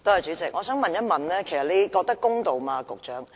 主席，我想問一問局長你覺得公道嗎？